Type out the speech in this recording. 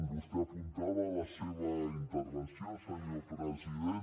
vostè apuntava en la seva intervenció senyor president